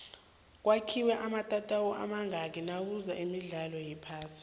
kwakhiwe amatatawu amazngaki nakuza imdlalo wephasi